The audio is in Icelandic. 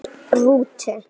Í rútu